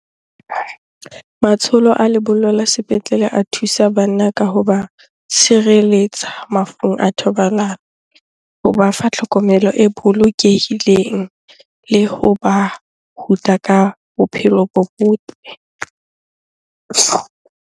Matsholo a lebollo la sepetlele a thusa banna ka hoba tshireletsa mafung a thobalano. Hoba fa tlhokomelo e bolokehileng le hoba ruta ka bophelo bo botle.